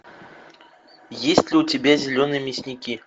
есть ли у тебя зеленые мясники